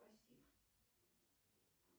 пассив